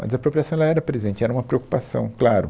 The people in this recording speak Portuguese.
A desapropriação ela era presente, era uma preocupação, claro.